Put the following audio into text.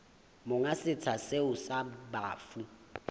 monga setsha seo sa bafu